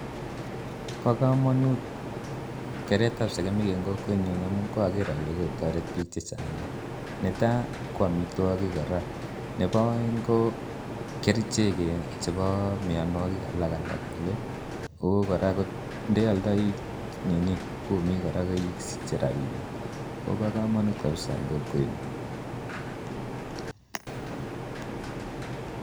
Bokomonut kereetab sekemik en kokwenyun amun koroker olee kotoret biik chechang nea, netaa ko amitwokik kora, nebo oeng ko kerichek chebo mionwokik alak tukul, ak ko kora ko ndealdoii ninii kumik kora isiche rabinik, kobokomonut kabisaa en kokwenyon.